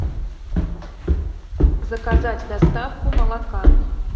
заказать доставку молока